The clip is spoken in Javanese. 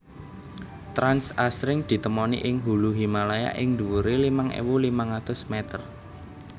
Trans asring ditemoni ing hulu Himalaya ing dhuwure limang ewu limang atus meter